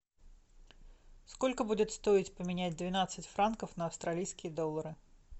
сколько будет стоить поменять двенадцать франков на австралийские доллары